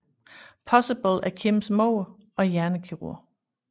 Possible er Kims mor og hjernekirurg